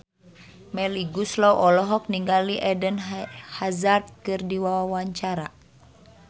Melly Goeslaw olohok ningali Eden Hazard keur diwawancara